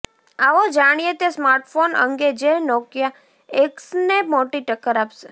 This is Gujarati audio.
આવો જાણીએ તે સ્માર્ટફોન અંગે જે નોકિયા એક્સને મોટી ટક્કર આપશે